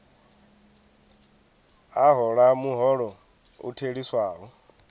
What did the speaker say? a hola muholo u theliswaho